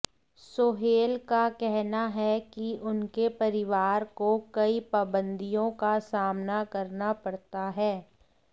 सोहेल का कहना है की उनके परिवार को कई पाबंदियों का सामना करना पड़ता है